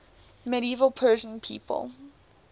medieval persian people